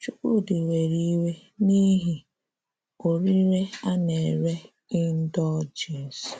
Chúkwúdị̀ wéré ìwé n’ìhì oríré a na-èrè ìndọ́ljèns.